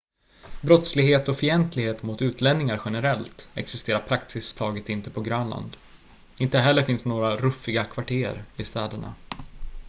"brottslighet och fientlighet mot utlänningar generellt existerar praktiskt taget inte på grönland. inte heller finns några "ruffiga kvarter" i städerna.